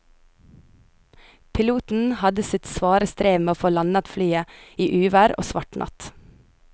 Piloten hadde sitt svare strev med å få landet flyet i uvær og svart natt.